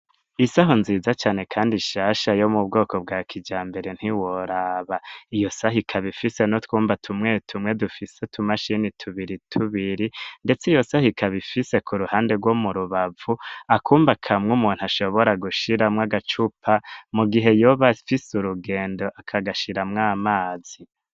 Isaho nziza cane kandi nshasha yo mu bwoko bwa kijambere ntiworaba. Iyo saho ikaba ifise n'utwumba tumwe tumwe dufise utumashini tubiri tubiri ndetse iyo saho ikaba ifise ku ruhande rwo mu rubavu akumba kamwe umuntu ashobora gushiramwo agacupa mu gihe yoba ifise urugendo akagashiramwo amazi.